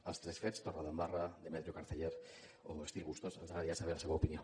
dels tres fets torredembarra demetrio carceller o estil bustos ens agradaria saber la seva opinió